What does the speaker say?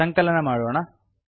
ಸಂಕಲನ ಮಾಡೋಣ